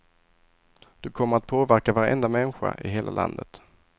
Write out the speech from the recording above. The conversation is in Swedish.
Du kommer att påverka varenda människa i hela landet.